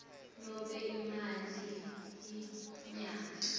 nobe imali yemnyaka